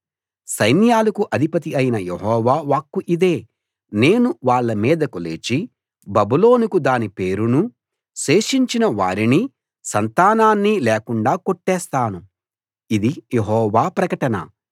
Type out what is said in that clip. సైన్యాలకు అధిపతి అయిన యెహోవా వాక్కు ఇదే నేను వాళ్ళ మీదకు లేచి బబులోనుకు దాని పేరునూ శేషించిన వారినీ సంతానాన్నీ లేకుండా కొట్టేస్తాను ఇది యెహోవా ప్రకటన